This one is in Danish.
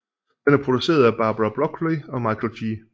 Den er produceret af Barbara Broccoli og Michael G